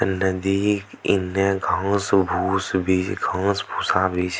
नदी इन्ने घास-भुस भी घांस-भुसा भी --